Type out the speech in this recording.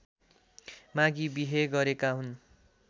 मागी बिहे गरेका हुन्